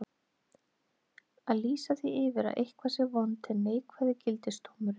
Að lýsa því yfir að eitthvað sé vont er neikvæði gildisdómurinn.